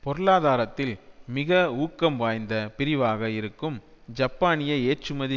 பொருளாதாரத்தில் மிக ஊக்கம் வாய்ந்த பிரிவாக இருக்கும் ஜப்பானிய ஏற்றுமதி